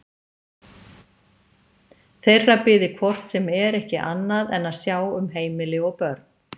Þeirra biði hvort sem er ekki annað en að sjá um heimili og börn.